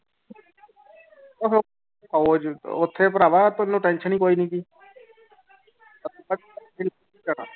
ਉਹ ਉਹ ਜੇ ਉੱਥੇ ਭਰਾਵਾ ਤੈਨੂੰ tension ਹੀ ਕੋਈ ਨੀ ਗੀ